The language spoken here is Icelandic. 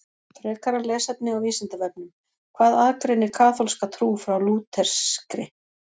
Frekara lesefni á Vísindavefnum Hvað aðgreinir kaþólska trú frá lúterskri?